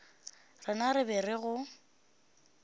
rena re be re go